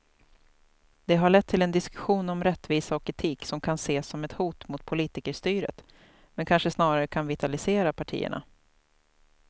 Det har lett till en diskussion om rättvisa och etik som kan ses som ett hot mot politikerstyret men kanske snarare kan vitalisera partierna.